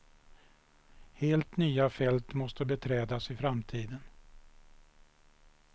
Helt nya fält måste beträdas i framtiden.